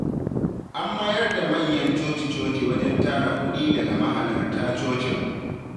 An mayar da manyan coci-coci wajen tara kuɗi daga mahalarta cocin.